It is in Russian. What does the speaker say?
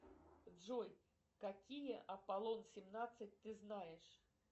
джой какие апполон семнадцать ты знаешь